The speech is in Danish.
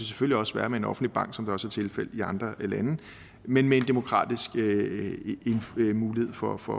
selvfølgelig også være med en offentlig bank som det også er tilfældet i andre lande men med en demokratisk mulighed for for